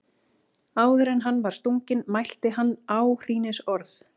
Áður en hann var stunginn mælti hann áhrínisorð.